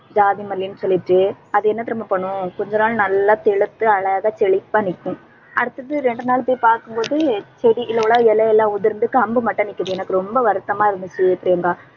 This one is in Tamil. ஜாதிமல்லின்னு சொல்லிட்டு அது என்ன தெரியுமா பண்ணும் கொஞ்ச நாள் நல்லா தெளித்து, அழகா செழிப்பா நிக்கும். அடுத்தது இரண்டு நாள் போய் பார்க்கும் போது செடியில உள்ள இலை எல்லாம் உதிர்ந்து, கம்பு மட்டும் நிக்குது. எனக்கு ரொம்ப வருத்தமா இருந்துச்சு பிரியங்கா